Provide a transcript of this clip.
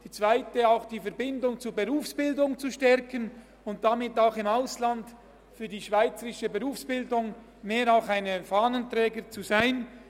Die zweite Strategie ist, die Verbindung zur Berufsbildung zu stärken und damit auch im Ausland ein Fahnenträger für die schweizerische Berufsbildung zu sein.